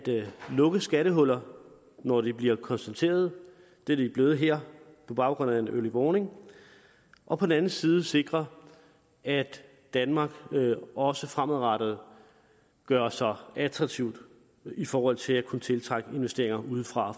lukke skattehuller når de bliver konstateret det er de blevet her på baggrund af en early warning og på den anden side sikre at danmark også fremadrettet gør sig attraktivt i forhold til at kunne tiltrække investeringer udefra